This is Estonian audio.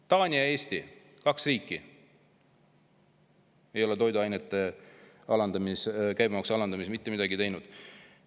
Taani ja Eesti, kaks riiki, ei ole toiduainete käibemaksu alandamiseks mitte midagi teinud.